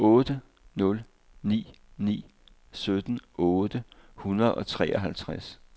otte nul ni ni sytten otte hundrede og treoghalvtreds